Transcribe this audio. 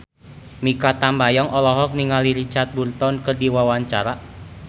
Mikha Tambayong olohok ningali Richard Burton keur diwawancara